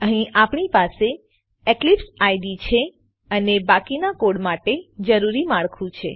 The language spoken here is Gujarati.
અહીં આપણી પાસે ઇક્લિપ્સ આઇડીઇ છે અને બાકીના કોડ માટે જરૂરી માળખું છે